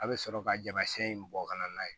A bɛ sɔrɔ ka jama in bɔ ka n'a ye